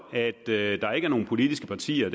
at der ikke er nogen politiske partier